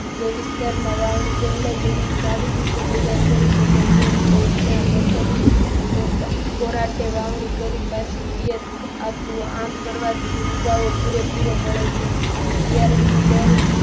જે વિસ્તારમાં વાવણી પહેલા જમીન સારી રીતે તૈયાર કરી શકાય તેમ હોય ત્યાં પ્રથમ કોરાટી વાવણી કરી પિયત આપવું આમ કરવાથી ઉગાવ પૂરેપૂરો મળે છે. બિયારણનો દર